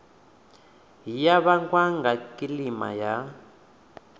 ya vhangwa nga kilima ndi